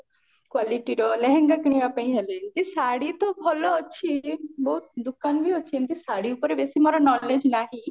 qualityର ଲେହେଙ୍ଗା କିଣିବା ପାଇଁ ହେଲେ ଏମତି ଶାଢୀ ତ ଭଲ ଅଛି ବହୁତ ଦୋକନ ବି ଅଛି ଏମତି ଶାଢୀ ଉପରେ ବେଶୀ ମୋର knowledge ନାହି